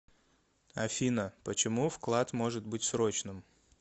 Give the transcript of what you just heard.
афина почему вклад может быть срочным